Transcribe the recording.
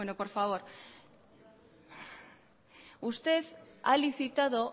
por favor usted ha licitado